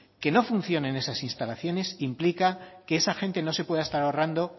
que no funciones esas instalaciones implica que esa gente no se pueda estar ahorrando